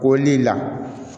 Ko ni la